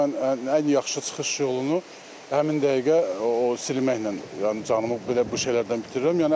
amma mən ən yaxşı çıxış yolunu həmin dəqiqə o silməklə, yəni canımı belə bu şeylərdən bitirirəm.